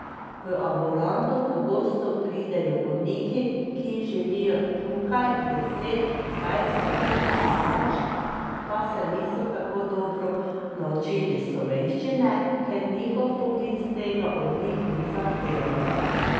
V ambulanto pogosto pridejo bolniki, ki živijo tukaj deset, dvajset let in več, pa se niso tako dobro naučili slovenščine, ker njihov poklic tega od njih ni zahteval.